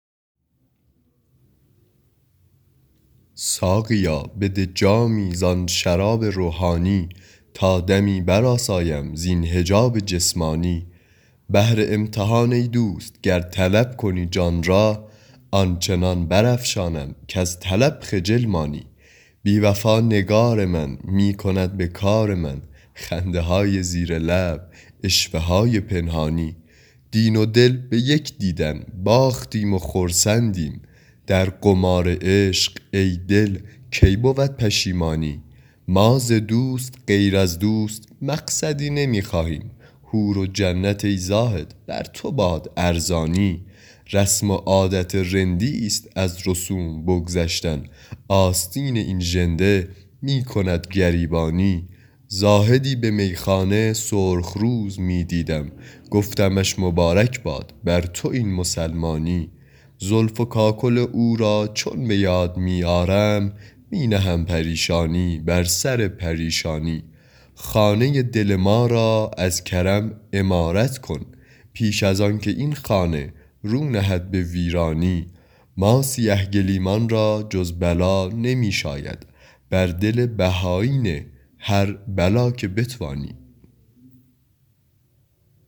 ساقیا بده جامی زآن شراب روحانی تا دمی برآسایم زین حجاب جسمانی بهر امتحان ای دوست گر طلب کنی جان را آن چنان برافشانم کز طلب خجل مانی بی وفا نگار من می کند به کار من خنده های زیر لب عشوه های پنهانی دین و دل به یک دیدن باختیم و خرسندیم در قمار عشق ای دل کی بود پشیمانی ما ز دوست غیر از دوست مقصدی نمی خواهیم حور و جنت ای زاهد بر تو باد ارزانی رسم و عادت رندی ست از رسوم بگذشتن آستین این ژنده می کند گریبانی زاهدی به میخانه سرخ رو ز می دیدم گفتمش مبارک باد بر تو این مسلمانی زلف و کاکل او را چون به یاد می آرم می نهم پریشانی بر سر پریشانی خانه دل ما را از کرم عمارت کن پیش از آن که این خانه رو نهد به ویرانی ما سیه گلیمان را جز بلا نمی شاید بر دل بهایی نه هر بلا که بتوانی